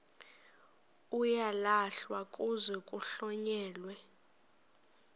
uyalahlwa kuze kuhlonyelwe